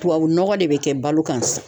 Tubabu nɔgɔ de bɛ kɛ balo kan